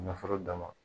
Nafolo dama